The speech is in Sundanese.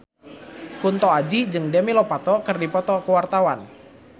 Kunto Aji jeung Demi Lovato keur dipoto ku wartawan